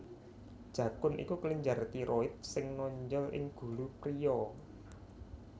Jakun iku kelenjar tiroid sing nonjol ing gulu priya